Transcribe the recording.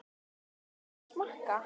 Má bjóða ykkur að smakka?